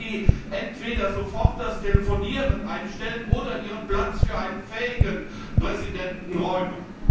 Könnten Sie entweder sofort das Telefonieren einstellen oder Ihren Platz für einen fähigen Präsidenten räumen?